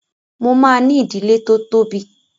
Mo máa ní ìdílé tó tóbi.